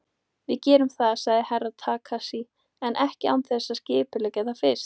Við gerum það, sagði Herra Takashi, en ekki án þess að skipuleggja það fyrst.